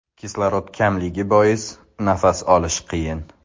Kislorod kamligi bois, nafas olish qiyin.